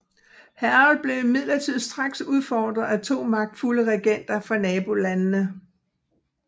Harold blev imidlertid straks udfordret af to magtfulde regenter fra nabolandene